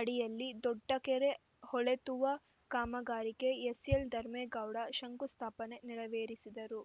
ಅಡಿಯಲ್ಲಿ ದೊಡ್ಡಕೆರೆ ಹೂಳೆತ್ತುವ ಕಾಮಗಾರಿಗೆ ಎಸ್‌ಎಲ್‌ ಧರ್ಮೇಗೌಡ ಶಂಕುಸ್ಥಾಪನೆ ನೆರವೇರಿಸಿದರು